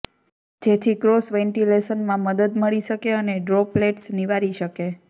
જેથી ક્રોસ વેન્ટિલેશનમાં મદદ મળી શકે અને ડ્રોપલેટ્સ નિવારી શકે